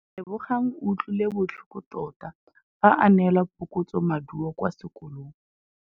Lebogang o utlwile botlhoko tota fa a neelwa phokotsômaduô kwa sekolong.